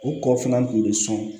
U kɔ fana kun bɛ sɔn